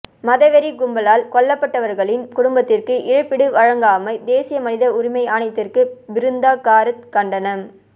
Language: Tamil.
மதவெறிக் கும்பலால் கொல்லப்பட்டவர்களின் குடும்பத்திற்கு இழப்பீடு வழங்காமை தேசிய மனித உரிமை ஆணையத்திற்கு பிருந்தா காரத் கண்டனம்